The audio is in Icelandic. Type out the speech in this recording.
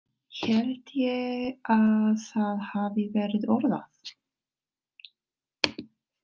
Held ég að það hafi verið orðað.